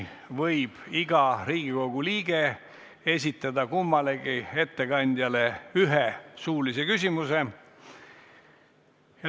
Iga Riigikogu liige võib esitada kummalegi ettekandjale ühe suulise küsimuse.